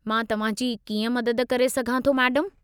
मां तव्हां जी कीअं मदद करे सघां थो, मैडमु?